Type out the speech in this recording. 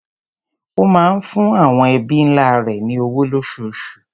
Ó máa ń fún àwọn ẹbí ńlá rẹ̀ ní owó lóṣooṣù.